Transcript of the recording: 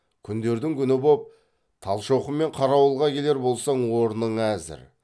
күндердің күні боп талшоқы мен қарауылға келер болсаң орның әзір